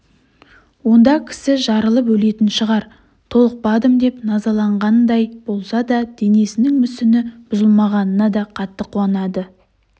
онда кісі жарылып өлетін шығар толықпадым деп назаланғандай болса да денесінің мүсіні бұзылмағанына да қатты қуанады